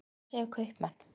En hvað segja kaupmenn?